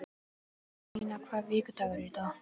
Einína, hvaða vikudagur er í dag?